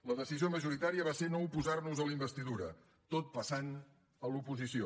la decisió majoritària va ser no oposar nos a la investidura tot passant a l’oposició